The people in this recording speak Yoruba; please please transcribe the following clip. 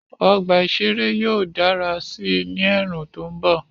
Ọgbà ìṣeré yóò dára sí i ní ẹ̀ẹ̀rùn tó mbọ̀